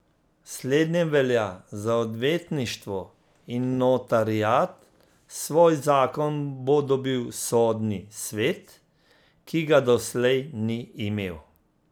Slednje velja za odvetništvo in notariat, svoj zakon bo dobil sodni svet, ki ga doslej ni imel.